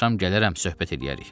Axşam gələrəm söhbət eləyərik.